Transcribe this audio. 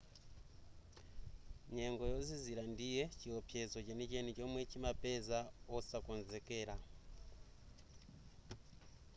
nyengo yozizira ndiye chiopsezo chenicheni chomwe chimapeza osakonzekera